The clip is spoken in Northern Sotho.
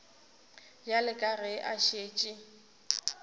bjale ka ge a šetše